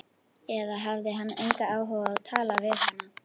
Eða hafði hann engan áhuga á að tala við hana?